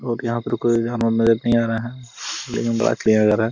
और यहां पर कोई यहां पर नजर नहीं आ रहा है लेकिन बात --